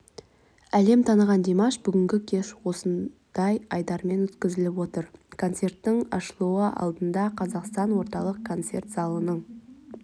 әлем таныған димаш бүгінгі кеш осындай айдармен өткізіліп отыр концерттің ашылуы алдында қазақстан орталық концерт залының